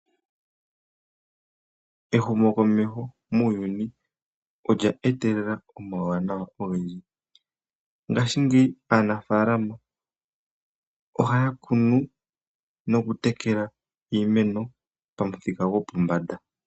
Ehumokomeho muuyuni olya etelela omawuwanawa ogendji. Ngashingeyi aanafalama ohaya kunu nokutekela iimeno pamuthika gopombanda.